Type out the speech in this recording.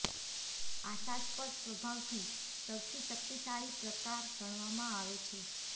આશાસ્પદ સ્વભાવથી સૌથી શક્તિશાળી પ્રકાર ગણવામાં આવે છે